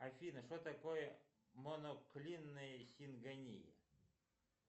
афина что такое моноклинная сингония